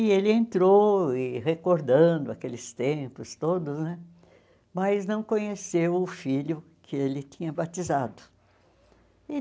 E ele entrou, e recordando aqueles tempos todos né, mas não conheceu o filho que ele tinha batizado.